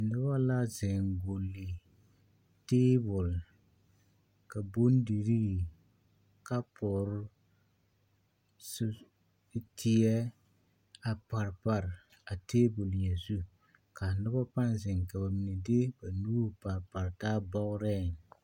Noba la zeŋ gbolli teebol ka bondirii, kapore, sur, teɛ a pare pare a teebol nyɛ zu ka noba pãã zeŋ ka bamine de ba nuuri pare pare taa bɔgereŋ